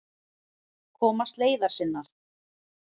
Komast leiðar sinnar.